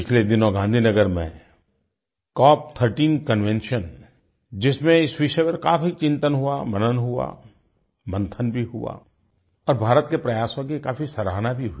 पिछले दिनों गाँधी नगर में कॉप 13 कन्वेंशन जिसमें इस विषय पर काफी चिंतन हुआ मनन हुआ मन्थन भी हुआ और भारत के प्रयासों की काफी सराहना भी हुई